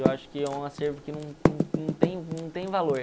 Eu acho que é um acervo que não tem não tem valor.